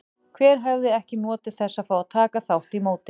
Hver hefði ekki notið þess að fá að taka þátt í móti?